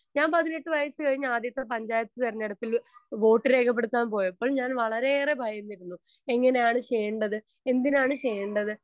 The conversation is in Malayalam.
സ്പീക്കർ 1 ഞാൻ പതിനെട്ട് വയസ്സ് കഴിഞ്ഞാദ്യത്തെ പഞ്ചായത്ത് തിരഞ്ഞെടുപ്പില് വോട്ട് രേഖപ്പെടുത്താൻ പോയപ്പോൾ ഞാൻ വളരെയേറെ ഭയന്നിരുന്നു എങ്ങനെയാണ് ചെയ്യേണ്ടത്? എന്തിനാണ് ചെയ്യേണ്ടത്?